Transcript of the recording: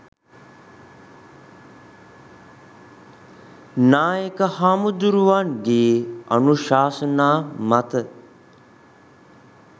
නායක හැමුදුරුවන්ගේ අනුශාසනා මත